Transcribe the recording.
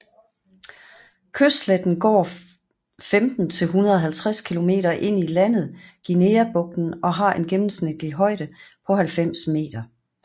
Kystsletten går 15 til 150 kilometer ind i landet fra Guineabugten og har en gennemsnitlig højde på 90 meter